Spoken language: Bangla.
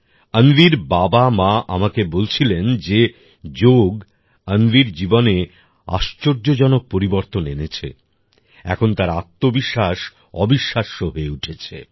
অন্বির বাবামা আমাকে বলছিলেন যে যোগ অন্বির জীবনে আশ্চর্যজনক পরিবর্তন এনেছে এখন তার আত্মবিশ্বাস অবিশ্বাস্য হয়ে উঠেছে